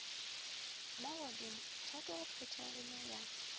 mogodumo thato go phethegile ya